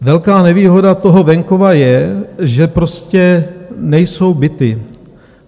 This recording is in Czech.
Velká nevýhoda toho venkova je, že prostě nejsou byty.